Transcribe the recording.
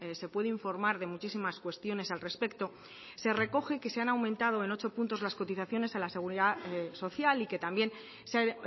se puede informar de muchísimas cuestiones al respecto se recoge que se han aumentado en ocho puntos las cotizaciones a la seguridad social y que también se ha